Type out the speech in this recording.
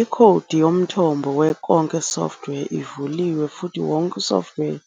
Ikhodi yomthombo we konke software ivuliwe futhi wonke software